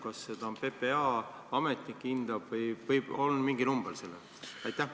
Kas seda hindab PPA ametnik või on siiski mingi number selle jaoks?